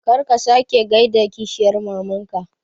Kar ka sake gaida kishiyar mamanka